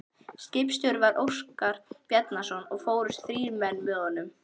Skipstjóri var Óskar Bjarnason og fórust þrír menn með honum.